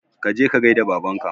Kaje ka gaida babanka